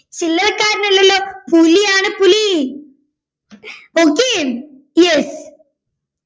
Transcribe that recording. ചില്ലറക്കാരനല്ലല്ലോ പുലിയാണ് പുലി okay yes